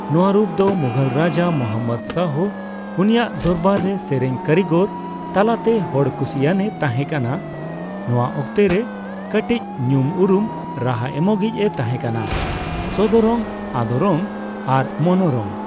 ᱱᱚᱣᱟ ᱨᱩᱯᱫᱚ ᱢᱩᱜᱷᱚᱞ ᱨᱟᱡᱟ ᱢᱚᱦᱚᱢᱢᱚᱫ ᱥᱟᱦᱚ ᱩᱱᱤᱭᱟᱜ ᱫᱚᱨᱵᱟᱨ ᱨᱮ ᱥᱮᱨᱮᱧ ᱠᱟᱹᱨᱤᱜᱚᱨ ᱛᱟᱞᱟᱛᱮ ᱦᱚᱲᱠᱩᱥᱤᱭᱟᱱᱮ ᱛᱟᱦᱮᱸ ᱠᱟᱱᱟ, ᱱᱚᱣᱟ ᱚᱠᱛᱮ ᱨᱮ ᱠᱟᱴᱤᱪ ᱧᱩᱢ ᱩᱨᱩᱢ ᱨᱟᱦᱟ ᱮᱢᱚᱜᱤᱡᱼᱮ ᱛᱟᱦᱮᱸ ᱠᱟᱱᱟ ᱥᱚᱫᱚᱨᱚᱝ, ᱟᱫᱚᱨᱚᱝ ᱟᱨ ᱢᱚᱱᱚᱨᱚᱝ ᱾